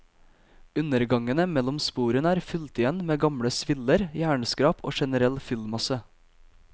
Undergangene mellom sporene er fylt igjen med gamle sviller, jernskrap og generell fyllmasse.